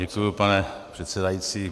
Děkuji, pane předsedající.